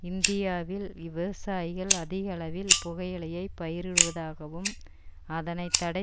இந்தியாவில் விவசாயிகள் அதிகளவில் புகையிலையை பயிரிடுவதாகவும் அதனை தடை